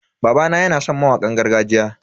Babana yana san mawakan gargajiya.